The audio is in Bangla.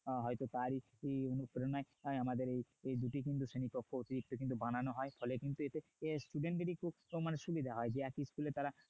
হয়তো তারই এই অনুপ্রেরণায় আমাদের এই দুটি কিন্তু শ্রেণিকক্ষ অতিরিক্ত কিন্তু বানানো হয় ফলে student দের কিন্তু এতে অনেক সুবিধা হয় মানে একই school তারা